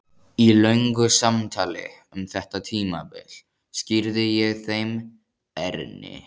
Í löngu samtali um þetta tímabil skýrði ég þeim Erni